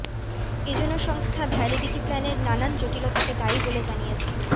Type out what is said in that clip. এজন্য সংস্থা ভ্যালিডিটি প্ল্যানের নানান জটিলতাকে দায়ী বলে জানিয়েছে